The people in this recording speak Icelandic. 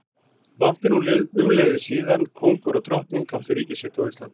Langt er nú umliðið síðan kóngur og drottning áttu ríki sitt á Íslandi.